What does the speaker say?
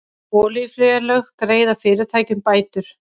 Olíufélög greiða fyrirtækjum bætur